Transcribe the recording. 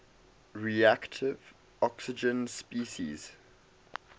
reactive oxygen species